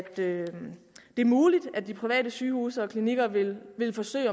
det er muligt at de private sygehuse og klinikker vil vil forsøge